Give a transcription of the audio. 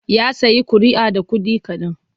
Ya sayi ƙuri'a da kuɗi kaɗan.